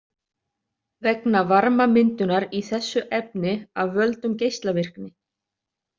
Vegna varmamyndunar í þessu efni af völdum geislavirkni.